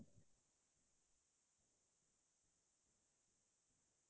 তাৰ পাছত, তাৰ পাছত আমি গৈছিলো কুল্লো বুলি এখন ঠাই আছে